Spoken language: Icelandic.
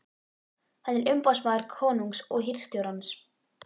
Hann er umboðsmaður konungs og hirðstjórans.